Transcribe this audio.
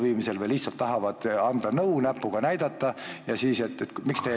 Või nad lihtsalt tahavad anda nõu ja näpuga näidata, et miks te ei tee ...